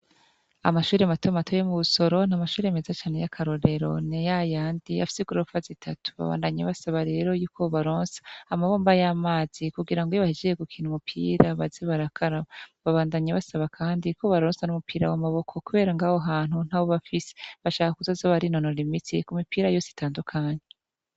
amashuri matomatoye yo mu busoro na mashuri mezacane y'akarorero niya yandi afise igorofa zitatu babandanye basaba rero y'uko baboronsa amabomba y'amazi kugira ngo iyobahejeje gukina umupira baze barakarab babandanye basaba kandi ko baronsa n'umupira w'a maboko kubera ngaho hantu ntawo bafisi bashaka kuzazoba rinonora imitsi ku mipira yose itandukanye